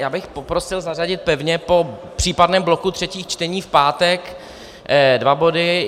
Já bych poprosil zařadit pevně po případném bloku třetích čtení v pátek dva body.